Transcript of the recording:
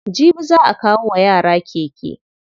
Jibi za'a kawo wa yara keke.